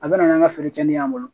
A bɛ na n'an ka feere cɛnin y'an bolo